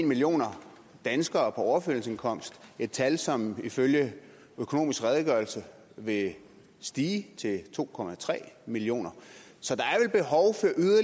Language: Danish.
millioner danskere på overførselsindkomst et tal som ifølge økonomisk redegørelse vil stige til to millioner så der